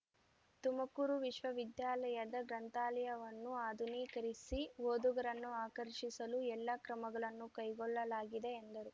ತುಮಕೂರು ವಿಶ್ವವಿದ್ಯಾಲಯದ ಗ್ರಂಥಾಲಯವನ್ನು ಆಧುನೀಕರಿಸಿ ಓದುಗರನ್ನು ಆಕರ್ಷಿಸಲು ಎಲ್ಲಾ ಕ್ರಮಗಳನ್ನು ಕೈಗೊಳ್ಳಲಾಗಿದೆ ಎಂದರು